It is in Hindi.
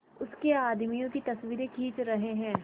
उसके आदमियों की तस्वीरें खींच रहे हैं